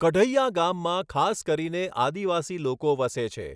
કઢૈયા ગામમાં ખાસ કરીને આદિવાસી લોકો વસે છે.